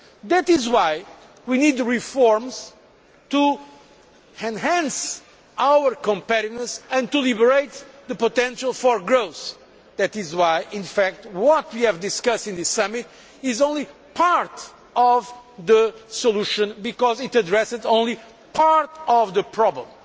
That is why we need the reforms to enhance our competitiveness and to liberate the potential for growth. That is why in fact what we have discussed in this summit is only part of the solution because it addresses only part of the problem.